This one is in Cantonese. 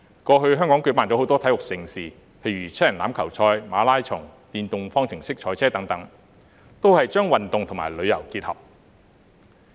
過去，香港舉辦了很多體育盛事，例如七人欖球賽、馬拉松、電動方程式賽車等，把運動與旅遊結合。